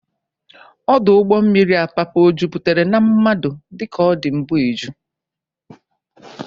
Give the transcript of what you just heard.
Ọdụ ụgbọ mmiri Apapa o jupụtara na mmadụ dịka ọ dị mbụ eju.?